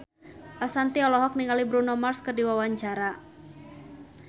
Ashanti olohok ningali Bruno Mars keur diwawancara